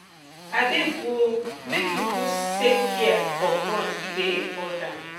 abeg o make you put sefcare for front e dey important